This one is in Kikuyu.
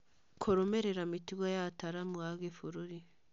Kũrũmĩrĩra mĩtugo ya ataaramu a gĩbũrũri.